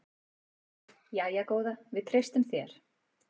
Jæja góða, við treystum þér.